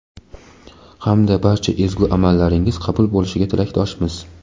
hamda barcha ezgu amallaringiz qabul bo‘lishiga tilakdoshmiz.